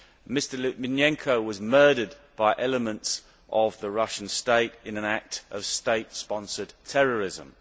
Mr Litvinenko was murdered by elements of the Russian state in an act of state sponsored terrorism.